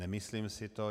Nemyslím si to.